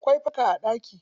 Akwai fanka a ɗaki.